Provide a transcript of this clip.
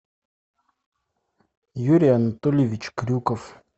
юрий анатольевич крюков